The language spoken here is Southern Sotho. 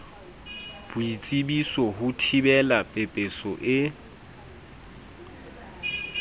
boitsebiso ho thibela pepeso e